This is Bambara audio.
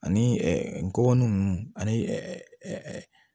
Ani ngɔbɔnin ninnu ani